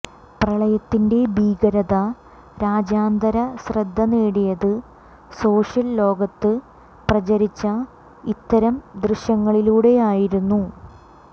പ്രളയത്തിന്റെ ഭീകരത രാജ്യാന്തരശ്രദ്ധ നേടിയത് സോഷ്യല് ലോകത്ത് പ്രചരിച്ച ഇത്തരം ദൃശ്യങ്ങളിലൂടെയായിരുന്നു